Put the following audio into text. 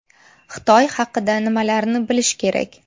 Xitoy haqida nimalarni bilish kerak?